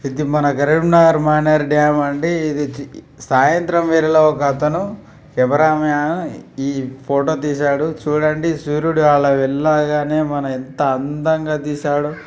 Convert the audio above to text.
ఇది మన కరీంనగర్ మానేరు డాం అండి ఇది సాయంత్రం వేళలో ఒక అతను ఈ ఫోటో తీసాడు చుడండి సూర్యుడు అలా వెళ్ళగానే మన ఎంత అందంగా తీసాడో.